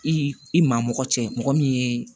I i maa mɔgɔ cɛ mɔgɔ min ye